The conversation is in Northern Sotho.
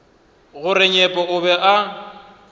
gore nyepo o be a